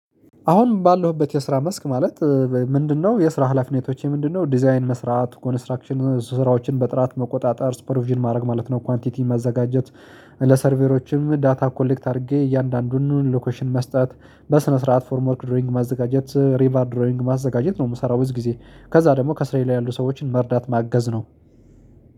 አሁን ባለሁበት የስራ መስክ ማለት ምንድነው? የስራ ህላፍነቶቼ ምንድነው? ዲዛይን መስራት፤ ኮንስትራክሽን ስራዎችን በጥራት መቆጣጠር፤ ስፖርቪዥን ማድረግ ማለት ነው፤ ኳንቲቲ መዘጋጀት፤ ለሰርቬሮችም ዳታ ኮሌክት አድርጌ እያንዳንዱን ሎኬሽን መስጠት፤ በስነ ስርዓት ፍሬም ወርክ ድሮይንግ ማዘጋጀት፤ ሪባርድ ድሮይንግ ማዘጋጀት፤ ነው የምሰራው በዚህ ጊዜ። ደግሞ ከስራዬ ላይ ያሉ ሰዎችን መርዳት ማገዝ ነው።